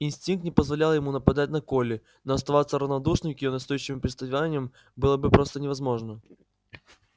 инстинкт не позволял ему нападать на колли но оставаться равнодушным к её настойчивым приставаниям было бы просто невозможно